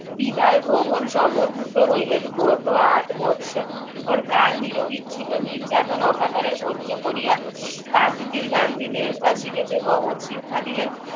বিদায় গ্রহণ সমূহ দ্রুত হইলেন গত আট বৎসর পর কাল নিরবিচ্ছিন্ন নির্যাতন অকাতরে সহ্য করিয়া গান্ধী দেশবাসীকে যে মহৎ শিক্ষা দিলেন